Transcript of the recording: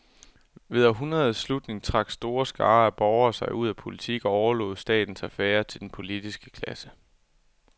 Ved århundredets slutning trak store skarer af borgere sig ud af politik og overlod statens affærer til den politiske klasse.